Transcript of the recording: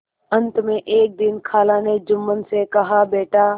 अंत में एक दिन खाला ने जुम्मन से कहाबेटा